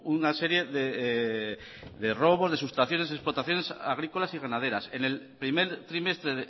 una serie de robos de sustracciones y explotaciones agrícolas y ganaderas en el primer trimestre